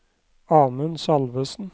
Amund Salvesen